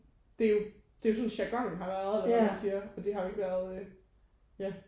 Det jo det er jo sådan jargonen har været eller hvordan man siger og det har jo ikke været ja